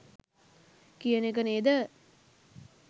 කියන එක නේද?